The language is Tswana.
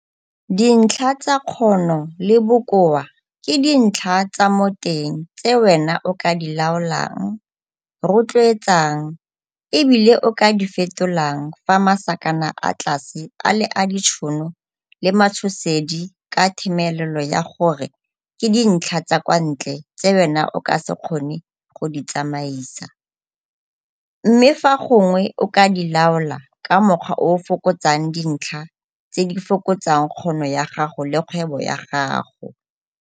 Dintlha tsa Kgono le Bokoa ke dintlha tsa mo teng tse WENA o ka di LAOLANG, ROTLOETSANG e bile o ka di FETOLANG fa masakana a tlase a le a ditšhono le matshosedi ka themelelo ya gore ke dintlha tsa KWA NTLE tse wena o ka se kgone go di tsamaisa, mme fa gongwe o ka di laola ka mokgwa o o fokotsang dintlha tse di fokotsang kgono ya gago le kgwebo ya gago.